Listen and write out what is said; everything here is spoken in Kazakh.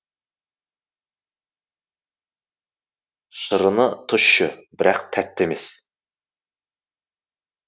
шырыны тұщы бірақ тәтті емес